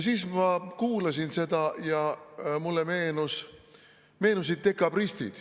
Ma kuulasin seda ja mulle meenusid dekabristid.